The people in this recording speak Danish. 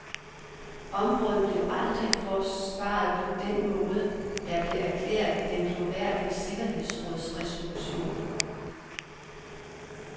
Området blev aldrig forsvaret på den måde, der blev erklæret i den glorværdige sikkerhedsrådsresolution.